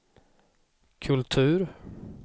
kultur